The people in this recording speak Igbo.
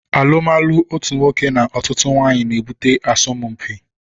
Alumalu otú nwoke na ọtụtụ nwanyị na ebute asọmpi